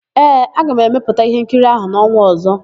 Ee, aga m emepụta íhénkiri áhụ̀ n'ọnwa ọ̀zọ́.